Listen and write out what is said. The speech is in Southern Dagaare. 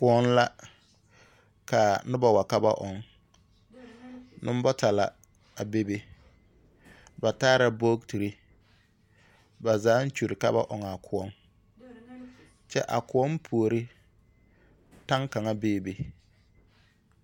Koɔŋ la, ka noba wa ka ba ɔŋ. Nombata la, a bebe. Ba taara bogtiri. Ba zaaŋ kyuri ka ba ɔŋ a koɔŋ. Kyɛ a koɔŋ puori, taŋ kaŋ beebe.